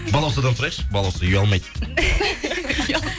балаусадан сұрайықшы балауса ұялмайды